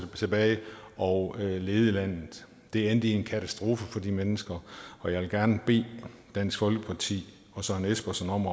tilbage og lede landet det endte i en katastrofe for de mennesker og jeg vil gerne bede dansk folkeparti og søren espersen om